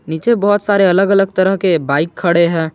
नीचे बहोत सारे अलग अलग तरह के बाइक खड़े है।